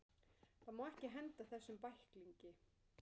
Það má ekki henda þessum bæklingi!